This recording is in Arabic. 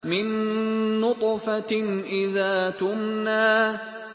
مِن نُّطْفَةٍ إِذَا تُمْنَىٰ